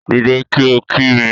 Dìde kí o kí mi